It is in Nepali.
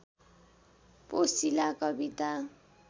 पोसिला कविता